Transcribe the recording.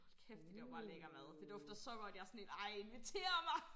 Hold kæft de laver bare lækker mad det dufter så godt jeg sådan helt ej inviter mig